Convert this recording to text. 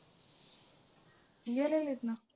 गेलेलेत ना.